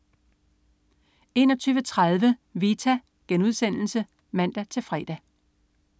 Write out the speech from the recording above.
21.30 Vita* (man-fre)